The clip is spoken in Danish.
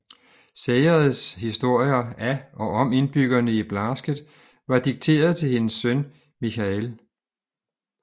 Sayers historier af og om indbyggerne i Blasket var dikteret til hendes søn Micheál